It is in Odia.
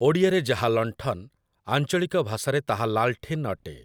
ଓଡ଼ିଆରେ ଯାହା ଲଣ୍ଠନ୍‌, ଆଞ୍ଚଳିକ ଭାଷାରେ ତାହା ଲାଲ୍‌ଠିନ୍‌ ଅଟେ।